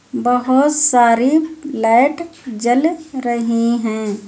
बहोत सारी लाइट जल रही हैं।